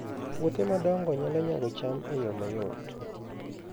Puothe madongo nyalo nyago cham e yo mayot